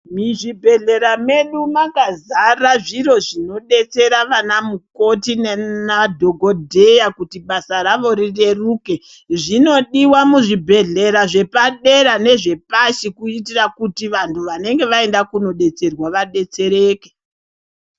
Muzvibhedhlera zvedu makazata zvinhu zvinodetsera anamukoti nemadhokodheya kuti basa ravo rireke. Zvinodiwa muzvibhedhlera zvepadera nezvepadhi kuitira kuti vanhu vanenge vaenda kunodetserwa vadetsereke.